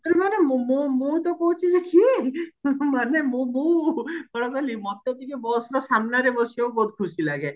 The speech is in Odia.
ମାନେ ମୁ ମୁଁ ତ କହୁଚି ମାନେ ମୁଁ ମୁଁ ମତେ ଟିକେ busର ସାମ୍ନାରେ ବସିବାକୁ ବହୁତ ଖୁସି ଲାଗେ